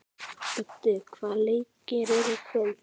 Öddi, hvaða leikir eru í kvöld?